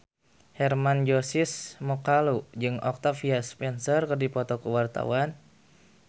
Hermann Josis Mokalu jeung Octavia Spencer keur dipoto ku wartawan